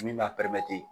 Min b'a